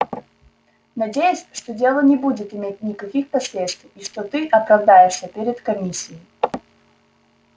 надеюсь что дело не будет иметь никаких последствий и что ты оправдаешься перед комиссией